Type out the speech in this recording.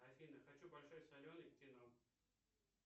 афина хочу большой солены к кино